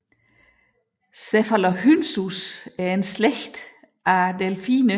Cephalorhynchus er en slægt af delfiner